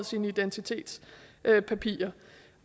sine identitetspapirer